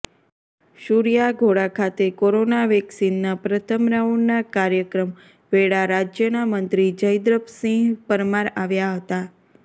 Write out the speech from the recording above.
સૂર્યાઘોડા ખાતે કોરોના વેકસીનના પ્રથમ રાઉન્ડના કાર્યક્રમ વેળા રાજ્યના મંત્રી જયદ્રથસિંહ પરમાર આવ્યા હતા